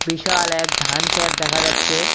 বিশাল এক ধান খ্যাত দেখা যাচ্ছে।